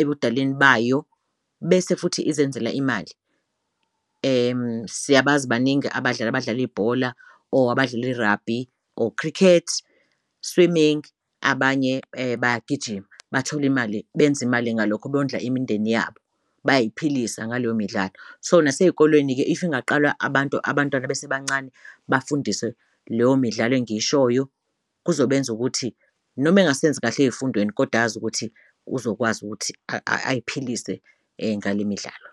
ebudaleni bayo bese futhi izenzela imali. Siyabazi baningi abadlali abadlala ibhola or abadlala i-rugby, or cricket, swimming abanye bayagijima bathole imali, benze imali ngalokho, bondla imindeni yabo bay'philisa ngaleyo midlalo. So, nasey'kolweni-ke if ingaqalwa abantu, abantwana besebancane bafundiswe leyo midlalo engiyishoyo kuzobenza ukuthi noma engasenzi kahle ey'fundweni koda azi ukuthi uzokwazi ukuthi ayiphilise ngale midlalo.